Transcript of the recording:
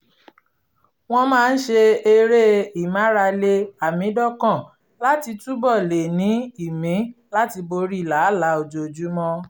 wọ́n máa ń ṣe eré ìmárale àmídọ́kàn láti túbọ̀ lè ní ìmí láti borí làálàá ojoojúmọ́